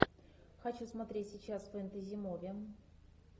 хочу смотреть сейчас фэнтези муви